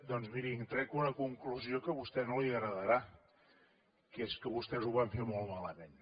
doncs miri en trec una conclusió que a vostè no li agradarà que és que vostès ho van fer molt malament